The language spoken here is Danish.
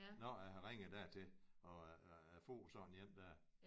Når jeg har ringet dertil og jeg får sådan én der